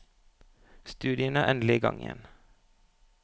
Studiene er endelig i gang igjen.